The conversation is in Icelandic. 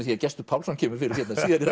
því Gestur Pálsson kemur fyrir hérna síðar í